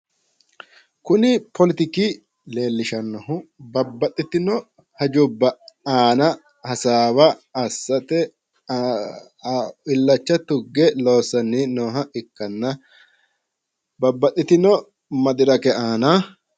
Kuni poletiki leellishannohu babbaxitino hajubba aana hasaawa assate illacha tugge loossanni nooha ikkanna babbaxitino madirake aana.